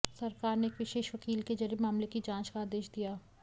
सरकार ने एक विशेष वकील के जरिए मामले की जांच का आदेश दिया